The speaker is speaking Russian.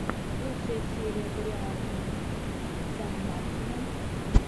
лучшая серия дариана сандмартина